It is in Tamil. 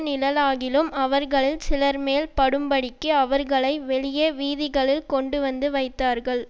நிழலாகிலும் அவர்களில் சிலர்மேல் படும்படிக்கு அவர்களை வெளியே வீதிகளில் கொண்டுவந்து வைத்தார்கள்